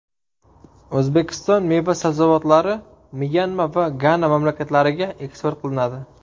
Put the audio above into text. O‘zbekiston meva-sabzavotlari Myanma va Gana mamlakatlariga eksport qilinadi.